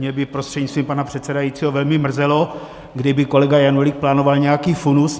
Mě by prostřednictvím pana předsedajícího velmi mrzelo, kdyby kolega Janulík plánoval nějaký funus.